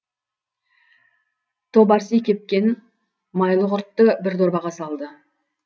тобарси кепкен майлы құртты бір дорбаға салды